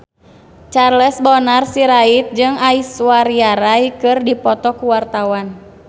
Charles Bonar Sirait jeung Aishwarya Rai keur dipoto ku wartawan